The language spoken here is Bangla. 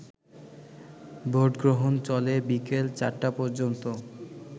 ভোটগ্রহণ চলে বিকেল ৪টা পর্যন্ত